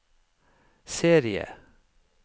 serie